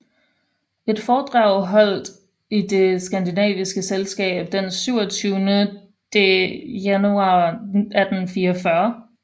Et foredrag holdt i det skandinaviske Selskab den 27de januar 1844